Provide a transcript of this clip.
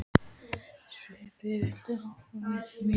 Sveppi, viltu hoppa með mér?